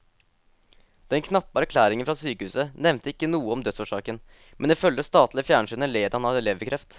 Den knappe erklæringen fra sykehuset nevnte ikke noe om dødsårsaken, men ifølge det statlige fjernsynet led han av leverkreft.